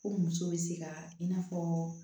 Ko muso bɛ se ka i n'a fɔ